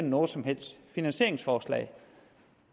noget som helst finansieringsforslag